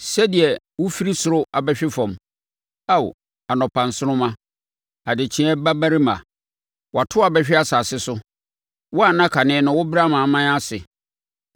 Sɛdeɛ wofiri soro abɛhwe fam, Ao, anɔpa nsoromma, adekyeeɛ babarima! Wɔato wo abɛhwe asase so, wo a na kane no wobrɛ amanaman ase!